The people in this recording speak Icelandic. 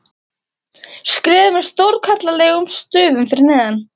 skrifað með stórkarlalegum stöfum fyrir neðan.